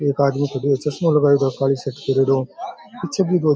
एक आदमी खड़े है चसमा लगाएड़ो पीछे भी दो --